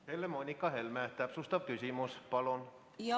Helle-Moonika Helme, täpsustav küsimus, palun!